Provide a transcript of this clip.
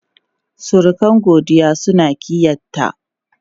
Surukan Godiya suna ƙiyyayta.